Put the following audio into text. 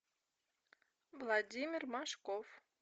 владимир машков